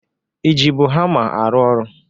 I jibu hama arụ ọrụ?